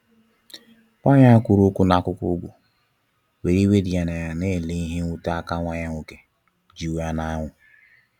Nwanyị a wee kwụrụ na akụkụ ugwu, were iwe dị ya n'anya n'ele ihe nwute a ka nwa ya nwoke ji wee na anwụ.